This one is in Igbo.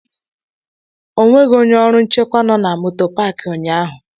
O nweghị onye ọrụ nchekwa nọ na moto Pááki ụnyahụ